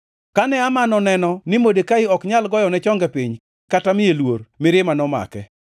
Kane Haman oneno ni Modekai ok nyal goyone chonge piny kata miye luor, mirima nomake.